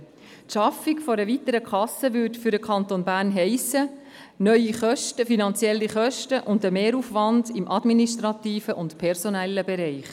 Die Schaffung einer weiteren Kasse würde für den Kanton Bern heissen: neue Kosten, finanzielle Kosten und einen Mehraufwand im administrativen und personellen Bereich.